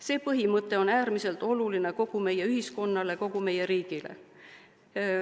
See põhimõte on äärmiselt oluline kogu meie ühiskonnale, kogu meie riigile.